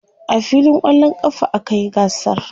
a filin kwallon ƙafa a kayi gasar